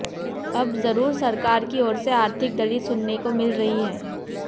अब जरूर सरकार की ओर से आर्थिक दलील सुनने को मिल रही हैं